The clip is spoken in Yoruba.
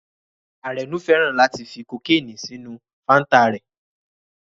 Arenu fẹ́ràn láti fi kokeni sínú fanta rẹ̀